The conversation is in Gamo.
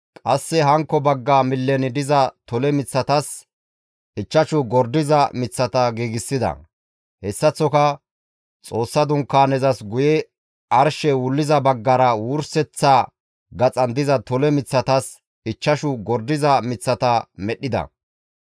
qasse hankko bagga millen diza tole miththatas ichchashu gordiza miththata giigsida. Hessaththoka Xoossa Dunkaanezas guye baggara arshey wulliza baggara wurseththa gaxan diza tole miththatas ichchashu gordiza miththata medhdhida.